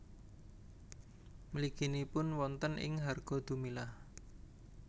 Mliginipun wonten ing Hargodumilah